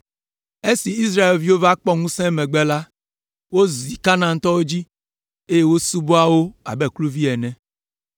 Esi Israelviwo va kpɔ ŋusẽ emegbe la, wozi Kanaantɔwo dzi, eye wosubɔa wo abe kluviwo ene.